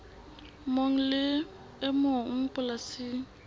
mong le e mong polasing